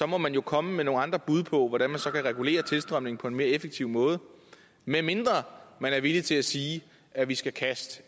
må man jo komme med nogle andre bud på hvordan man så kan regulere tilstrømningen på en mere effektiv måde medmindre man er villig til at sige at vi skal kaste